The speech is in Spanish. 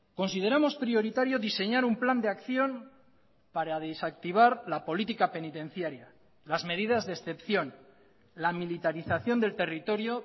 consideramos prioritario diseñar un plan de acción para desactivar la política penitenciaria las medidas de excepción la militarización del territorio